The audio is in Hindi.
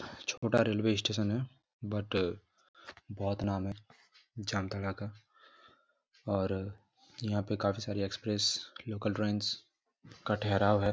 छोटा रेलवे स्टेशन है बट बहुत नाम है जामतारा का और यहां काफी सारी एक्सप्रेस लोकल ट्रेनस का ठहराव है।